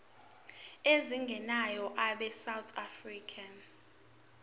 ezingenayo abesouth african